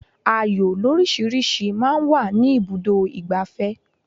Ayò lórísìíríìsí máa ń wà ní ibùdó ìgbafẹ́.